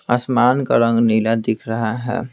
आसमान का रंग नीला दिख रहा है।